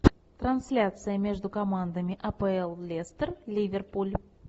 трансляция между командами апл лестер ливерпуль